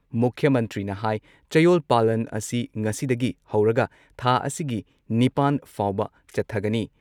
ꯃꯨꯈ꯭꯭ꯌ ꯃꯟꯇ꯭ꯔꯤꯅ ꯍꯥꯏ ꯆꯌꯣꯜ ꯄꯥꯂꯟ ꯑꯁꯤ ꯉꯁꯤꯗꯒꯤ ꯍꯧꯔꯒ ꯊꯥ ꯑꯁꯤꯒꯤ ꯅꯤꯄꯥꯟ ꯐꯥꯎꯕ ꯆꯠꯊꯒꯅꯤ ꯫